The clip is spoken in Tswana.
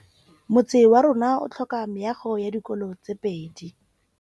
Motse warona o tlhoka meago ya dikolô tse pedi.